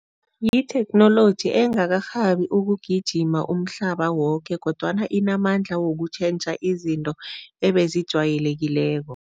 Yitheknoloji engakarhabi ukugijima umhlaba woke kodwana inamandla wokutjhentjha izinto ebezijwayelekileko.